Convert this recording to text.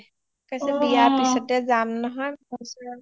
কৈছে বিয়াৰ পিছতে যাম নহয়